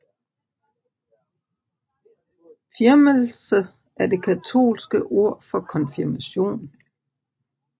Firmelse er det katolske ord for konfirmation